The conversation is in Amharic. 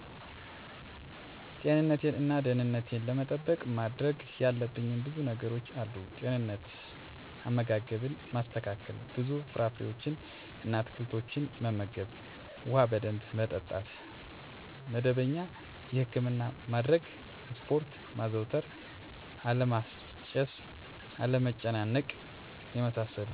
ጤንነቴን እና ደህንነቴን ለመጠበቅ ማድረግ ያለብኝ ብዙ ነገሮች አሉ፦ * ጤንነት፦ * አመጋገብን ማስተካከል፣ ብዙ ፍራፍሬዎችን እና አትክልቶችን መመገብ፣ ውሃ በደንብ መጠጣት፣ መደበኛ የህክምና ማድረግ፣ ስፖርት ማዘውተር አለማጨስ፣ አለመጨናነቅ የመሳሰሉት ናቸው። * ደህንነትን ለመጠበቅ፦ በመንገድ ላይ፣ በቤት ውስጥ እና በማንኛውም ቦታ ላይ ደህንነቴን መጠበቅ እችላለሁ። አደጋ ሊያደርሱ ከሚችሉ ነገሮች ላይ ጥንቃቄ ማድረግ እነዚህን ነገሮች በመተግበር ደህንነትን መጠበቅ ይቻላሉ።